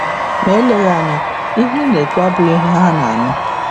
Ma eleghị um anya, ihe ị na-ekwu abụghị ihe ha na-anụ.